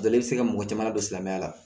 Jɔlen bɛ se ka mɔgɔ caman ladon silamɛya la